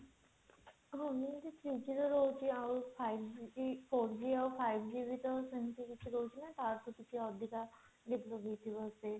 ଆମର ଯୋଉ three G ର ରହୁଛି ଆଉ five G ଏ four G ଆଉ five G ସେମଟି କିଛି ରହୁଛି ନା ତାଠୁ କିଛି ଅଧିକା ରହୁଛି